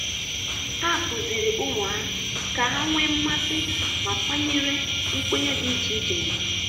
Ha kụziri ụmụ ha ka ha nwee mmasị ma kwanyere nkwenye dị iche iche ugwu.